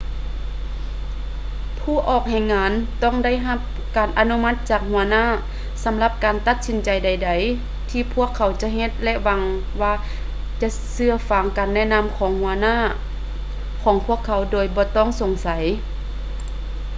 ຜູ້ອອກແຮງງານຕ້ອງໄດ້ຮັບການອະນຸມັດຈາກຫົວໜ້າສຳລັບການຕັດສິນໃຈໃດໆທີ່ພວກເຂົາຈະເຮັດ ແລະ ຫວັງວ່າຈະເຊື່ອຟັງການແນະນໍາຂອງຫົວໜ້າຂອງພວກເຂົາໂດຍບໍ່ຕ້ອງສົງໃສ